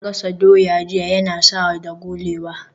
Na gasa doya jiya Yana sa ya dagulewa